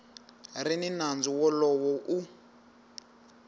ri ni nandzu wolowo u